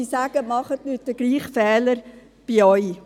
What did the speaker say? Diese Leute sagen, wir sollten nicht denselben Fehler machen.